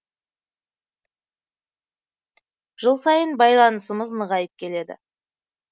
жыл сайын байланысымыз нығайып келеді